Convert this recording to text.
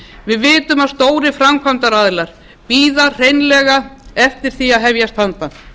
við vitum að stórir framkvæmdaaðilar bíða hreinlega eftir því að hefjast handa